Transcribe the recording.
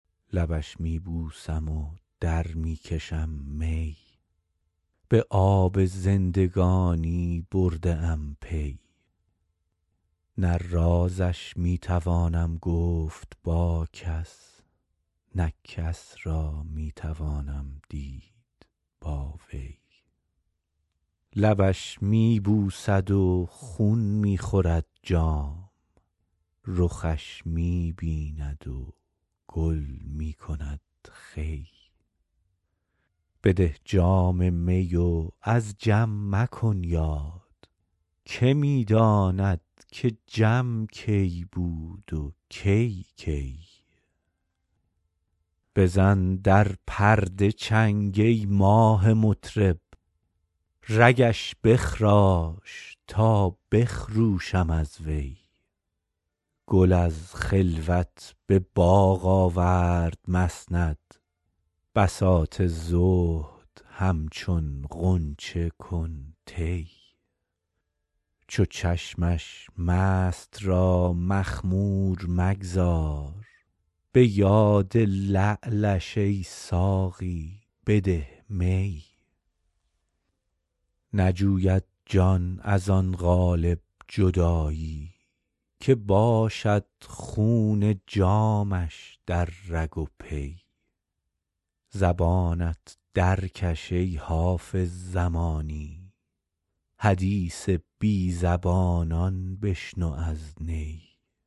لبش می بوسم و در می کشم می به آب زندگانی برده ام پی نه رازش می توانم گفت با کس نه کس را می توانم دید با وی لبش می بوسد و خون می خورد جام رخش می بیند و گل می کند خوی بده جام می و از جم مکن یاد که می داند که جم کی بود و کی کی بزن در پرده چنگ ای ماه مطرب رگش بخراش تا بخروشم از وی گل از خلوت به باغ آورد مسند بساط زهد همچون غنچه کن طی چو چشمش مست را مخمور مگذار به یاد لعلش ای ساقی بده می نجوید جان از آن قالب جدایی که باشد خون جامش در رگ و پی زبانت درکش ای حافظ زمانی حدیث بی زبانان بشنو از نی